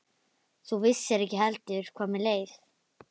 Þú vissir ekki heldur hvað mér leið.